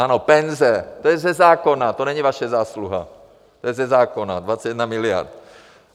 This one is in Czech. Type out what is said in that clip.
Ano, penze, to je ze zákona, to není vaše zásluha, to je ze zákona 21 miliard.